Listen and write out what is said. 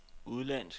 udenlandsk